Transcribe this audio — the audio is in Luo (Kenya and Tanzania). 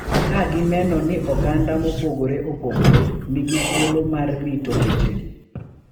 Ka gineno ni oganda mopogore opogore nigi thuolo mar rito wechegi.